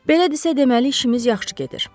Belə desə, deməli işimiz yaxşı gedir.